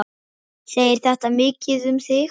Segir þetta mikið um þig.